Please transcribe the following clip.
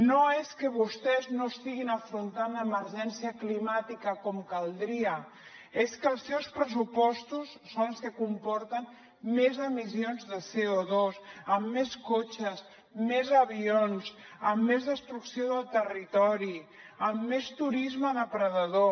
no és que vostès no estiguin afrontant l’emergència climàtica com caldria és que els seus pressupostos són els que comporten més emissions de co2 amb més cotxes més avions amb més destrucció del territori amb més turisme depredador